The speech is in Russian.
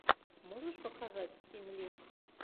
можешь показать стимлинкс